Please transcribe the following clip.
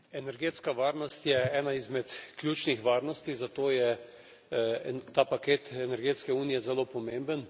Energetska varnost je ena izmed ključnih varnosti, zato je ta paket energetske unije zelo pomemben.